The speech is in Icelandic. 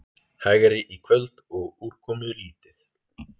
Hægari í kvöld og úrkomulítið